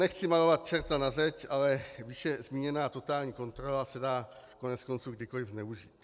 Nechci malovat čerta na zeď, ale výše zmíněná totální kontrola se dá koneckonců kdykoli zneužít.